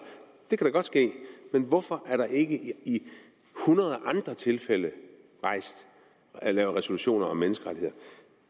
det kan da godt ske men hvorfor er der ikke i hundrede andre tilfælde lavet resolutioner om menneskerettigheder